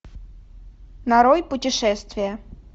нарой путешествие